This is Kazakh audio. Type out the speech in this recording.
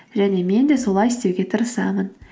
және мен де солай істеуге тырысамын